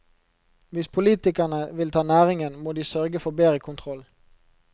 Hvis politikerne vil ta næringen, må de sørge for bedre kontroll.